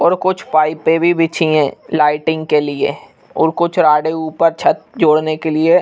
और कुछ पाइपे भी बिछी है। लाइटिंग के लिए और कुछ राडे ऊपर छत जोड़ने के लिए --